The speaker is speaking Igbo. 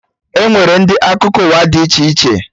Enwere ndị akụkọ ụwa dị iche iche